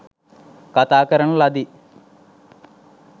කථා කරන ලදී.